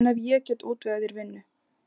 En ef ég get útvegað þér vinnu?